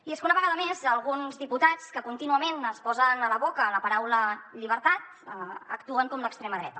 i és que una vegada més alguns diputats que contínuament es posen a la boca la paraula llibertat actuen com l’extrema dreta